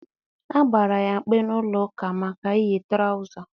A gbara ya mkpe n'ụlọ ụka maka iyi trawụza.